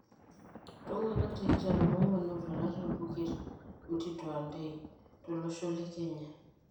Ltunganak tikitam onguan otwata tobuket Mtito Andei, tolosho le Kenya.